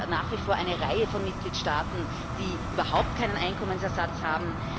Es gibt ja nach wie vor eine Reihe von Mitgliedstaaten, die überhaupt keinen Einkommensersatz haben.